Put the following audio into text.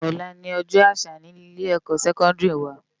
Òlá ni òjò ásà ni ilé èkò sèkòndiri wá